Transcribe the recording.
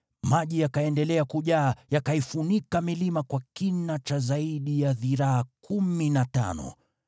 Maji yakaendelea kujaa yakaifunika milima kwa kina cha zaidi ya dhiraa kumi na tano.